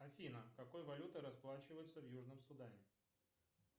афина какой валютой расплачиваются в южном судане